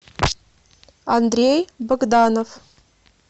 андрей богданов